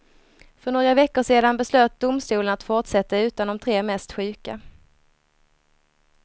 För några veckor sedan beslöt domstolen att fortsätta utan de tre mest sjuka.